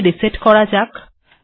এখানে রিসেট করা যাক